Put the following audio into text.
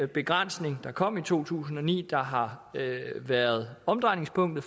begrænsning der kom i to tusind og ni der har været omdrejningspunktet